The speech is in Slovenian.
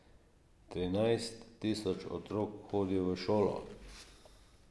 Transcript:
Trinajst tisoč otrok hodi v šolo.